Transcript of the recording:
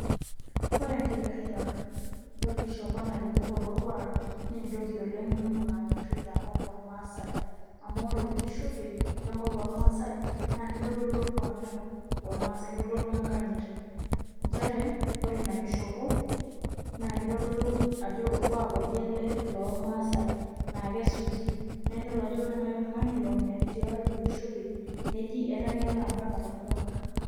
Ore enkipirta orkishopo nairukurukore orkuaak naa entoki etipat oleng' nanyorri tenkop ormaasai amu ore orkishopei lenkop ormaasai naa kitodolu orkuaak lormaasai kitodolu enkanyit nchere ore ina kishopo naa kitodolu ajo orkuaak oje ele lormaasai laa kesuji naa nidol ajo ore naai oltung'ani long'el tiatua orkishopei neji etanya ele ompaka torkuaak.